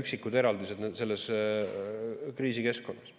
üksikud eraldised selles kriisikeskkonnas.